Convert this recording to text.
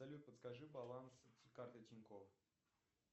салют подскажи баланс карты тинькофф